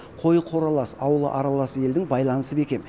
қойы қоралас ауылы аралас елдің байланысы бекем